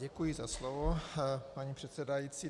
Děkuji za slovo, paní předsedající.